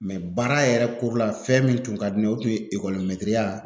baara yɛrɛ kurila fɛn min tun ka di ne ye o tun ye ekɔli mɛtiriya